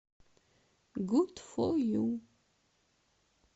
гуд фо ю